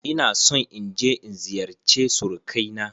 Ina son in je in ziyarce surukai na.